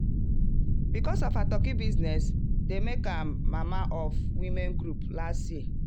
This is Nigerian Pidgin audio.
because of her turkey business dem make am mama of women group last year.